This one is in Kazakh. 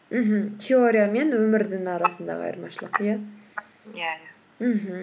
мхм теория мен өмірдің арасындағы айырмашылық иә иә иә мхм